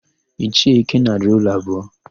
Ichie Ikenna rụrụ ụlọ abụọ.